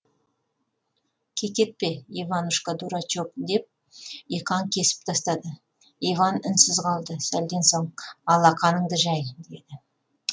кекетпе иванушка дурачок деп иқан кесіп тастады иван үнсіз қалды сәлден соң алақаныңды жай деді